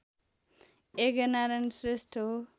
यज्ञनारायण श्रेष्ठ हो।